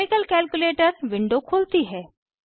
chemical calculator window खुलती है